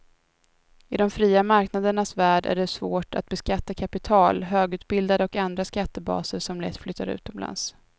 I de fria marknadernas värld är det svårt att beskatta kapital, högutbildade och andra skattebaser som lätt flyttar utomlands.